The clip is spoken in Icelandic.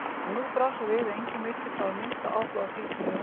En nú brá svo við að enginn virtist hafa minnsta áhuga á því sem Jón